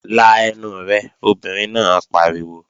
La ẹnu rẹ, obìnrin náà pariwo!